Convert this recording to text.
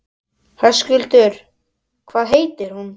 Höskuldur: Hvað heitir hún?